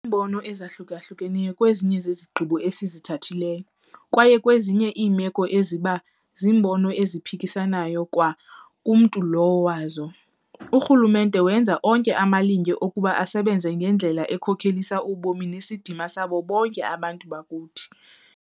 Kukho iimbono ezahlukeneyo kwezinye zezigqibo esizithathileyo - kwaye kwezinye iimeko ezi iba ziimbono eziphikisanayo kwa kumntu lowo wazo - urhulumente wenza onke amalinge okuba asebenze ngendlela ekhokelisa ubomi nesidima sabo bonke abantu bakuthi.